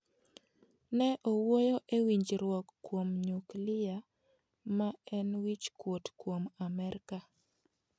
Ne owuoyo e winjruok kuom nyuklia ma en wichkuot kuom amerka.